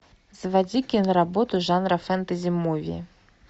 заводи киноработу жанра фэнтези муви